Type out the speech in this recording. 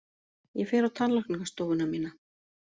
Ég fer á tannlæknastofuna mína!